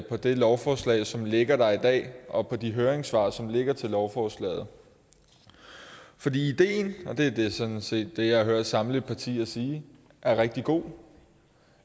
på det lovforslag som ligger der i dag og på de høringssvar som ligger til lovforslaget fordi ideen og det er sådan set det jeg hører samtlige partier sige er rigtig god